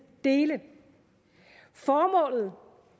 dele formålet